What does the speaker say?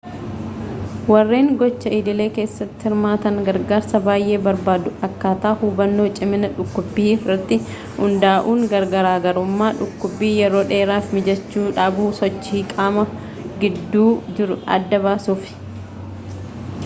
warreen gocha idilee kessatti hirmaatan gargarsaa bay'ee barbaadu akkaataa hubbannoo cimina dhukkubbii irratti hundaa'uudhaan garaagarummaa dhukkubbii yeroo dheeraa fi miijachuu dhabuu sochii qaamaa gidduu jiru adda baasuuf